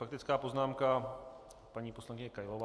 Faktická poznámka, paní poslankyně Kailová.